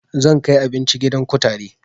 Zan kai abinci gidan kutare